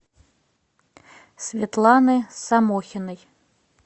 светланы самохиной